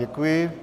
Děkuji.